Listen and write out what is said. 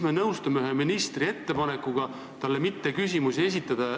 Me nõustume ühe ministri ettepanekuga talle mitte küsimusi esitada.